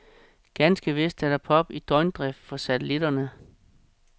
Ganske vist er der pop i døgndrift fra satellitterne.